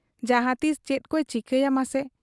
ᱡᱟᱦᱟᱸ ᱛᱤᱥ ᱪᱮᱫᱠᱚᱭ ᱪᱤᱠᱟᱹᱭᱟ ᱢᱟᱥᱮ ?'